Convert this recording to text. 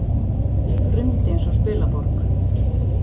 Hrundi eins og spilaborg.